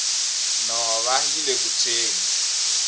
nhova yile ku tshweni